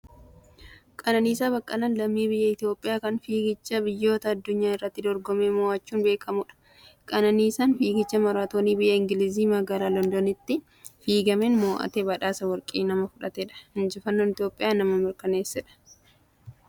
Qananiisaa Baqqalaan lammii biyya Itoophiyaa kan fiigicha biyyoota addunyaa irratti dorgomee moo'achuun beekamudha. Qananiisaan Fiigicha Maraatoonii biyya Ingiliiz, Magaalaa Londonitti fiigameen moo'atee badhaasa warqii nama fudhatedha. Injifannoo Itoophiyaa nama mirkaneessedha.